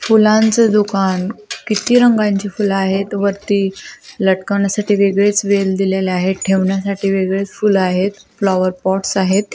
फुलांच दुकान किती रंगांचे फूल आहेत वरती लटकवण्या साठी वेगळेच वेळ दिलेले आहे ठेवण्या साठी वेगळेच फूल आहेत फ्लॉवर पोट्स आहेत.